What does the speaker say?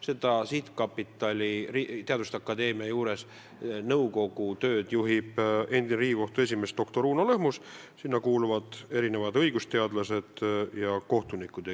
Selle teaduste akadeemia juures loodud sihtkapitali nõukogu tööd juhib endine Riigikohtu esimees doktor Uno Lõhmus ja nõukogusse kuuluvad ka õigusteadlased ja kohtunikud.